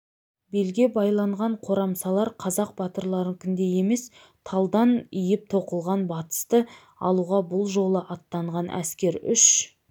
белге байланған қорамсалар қазақ батырларыныкіндей емес талдан иіп тоқылған батысты алуға бұл жолы аттанған әскер үш